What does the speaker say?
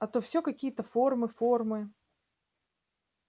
а то всё какие-то формы формы